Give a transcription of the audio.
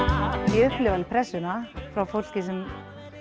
ég upplifi pressuna frá fólki sem